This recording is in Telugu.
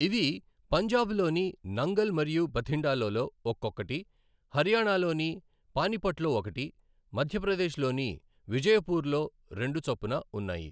ఇవి పంజాబ్ లోని నంగల్ మరియు బథిండాలలో ఒక్కొక్కటీ, హర్యానాలోని పానీపట్లో ఒకటి, మధ్యప్రదేశ్లోని విజయ్పూలో రెండు చొప్పున ఉన్నాయి.